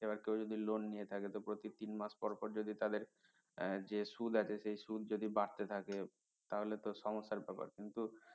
এবার কেউ যদি loan নিয়ে থাকে তো প্রতি তিন মাস পর পর যদি তাদের যে সুদ আছে সে সুদ যদি বাড়তে থাকে তাহলে তো সমস্যার ব্যাপার কিন্তু